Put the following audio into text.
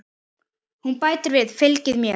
Hún bætir við: Fylgið mér